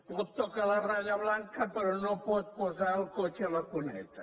pot tocar la ratlla blanca però no pot posar el cotxe a la cuneta